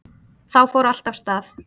Þá fór allt af stað